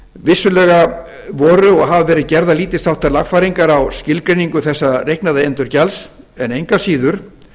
vissulega voru og hafa verið gerðar lítil háttar lagfæringar á skilgreiningu þessa reiknaða endurgjalds en engu að síður